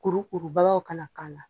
Kurukuruba kana k'ala